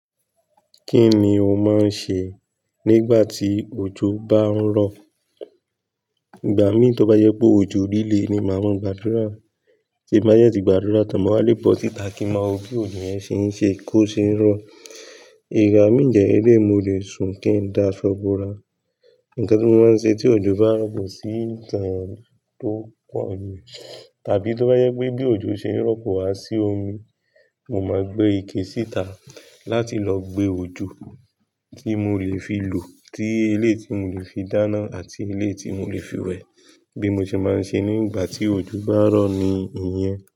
Kí ni o máa ń ṣe nígbà tí òjò bá ń rọ̀? Ìgbà mí tí ó bá jẹ pé òjò lilé ni, màá maa gbàdúrà. Ti n bá dẹ tí gbàdúrà tán, mo wà lé bọ̀ síta kí n ma wo bí òjò yẹn ṣe ń ṣe kí ó ṣe ń rọ̀. Ìgbà dẹ̀ lelei mo lè sùn kí n dá ṣọ́bùra. Nǹkan tí mo máa ń ṣe tí òjò bá ń rọ̀ kò sí ìtàn tó pọ̀ jù. Tàbí tó bá jẹ́ pé bí òjò ṣe ń rọ̀ kò wá sí omi, mo máa gbé ike síta láti lọ gbé òjò tí mo lè fi lò, tí elé ti mo lè fi dáná àti elé tí mo lè fi wẹ̀. Bí mo ṣe máa ń ṣe nígbà tí òjò bá rọ̀ ni ìyẹn.